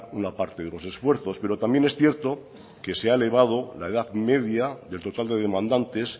una parte de los esfuerzos pero también es cierto que se ha elevado la edad media del total de demandantes